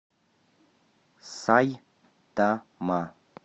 сайтама